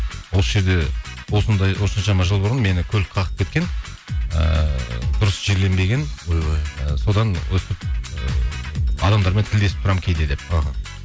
осы жерде осындай осыншама жыл бұрын мені көлік қағып кеткен ыыы дұрыс жерленбеген ойбай і содан өстіп адамдармен тілдесіп тұрамын кейде деп іхі